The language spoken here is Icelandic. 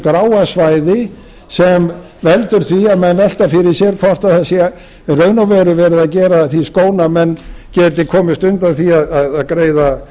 þessu gráa svæði sem veldur því að menn velta fyrir sér hvort það sé í raun og veru verið að gera að því skóna hvort menn geti komist undan því að greiða